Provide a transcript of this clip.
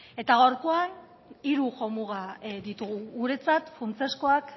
eta gaurkoan hiru jo muga ditugu guretzat funtsezkoak